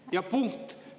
Ja punkt.